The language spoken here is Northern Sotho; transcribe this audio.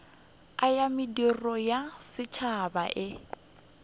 ya mediro ya setšhaba e